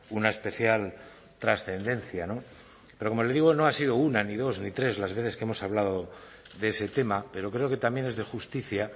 una especial trascendencia pero como le digo no ha sido una ni dos ni tres las veces que hemos hablado de ese tema pero creo que también es de justicia